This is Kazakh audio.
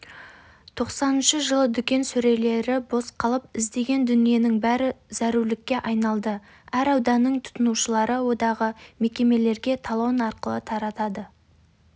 тоқсаныншы жылы дүкен сөрелері бос қалып іздеген дүниенің бәрі зәрулікке айналдыәр ауданның тұтынушылар одағы мекемелерге талон арқылы таратады